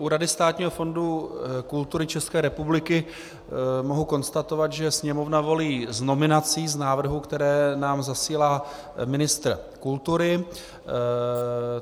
U Rady státního fondu kultury České republiky mohu konstatovat, že Sněmovna volí z nominací, z návrhů, které nám zasílá ministr kultury.